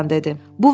kapitan dedi.